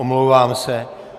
Omlouvám se.